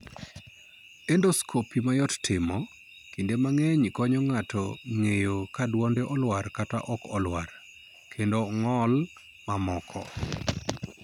Endoscopy ma yot timo, kinde mang'eny konyo ng'ato ng'eyo ka dwonde olwar kata ok olwar, kendo ong'ol mamoko.